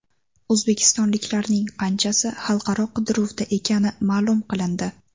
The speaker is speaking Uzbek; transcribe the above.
O‘zbekistonliklarning qanchasi xalqaro qidiruvda ekani ma’lum qilindi.